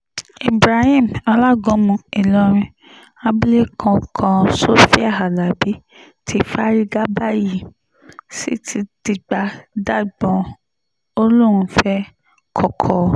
ibrahim alágúnmu ìlọrin abilékọ kan sofia alábi ti fárígá báyìí t sì ti dìgbà dagbọ̀n ó lóun fẹ́ẹ́ koko